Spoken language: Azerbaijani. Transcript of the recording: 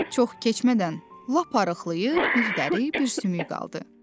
Çox keçmədən lap arıqlayıb bir dəri, bir sümük qaldı.